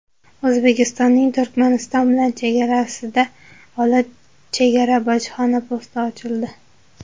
O‘zbekistonning Turkmaniston bilan chegarasida Olot chegara-bojxona posti ochildi .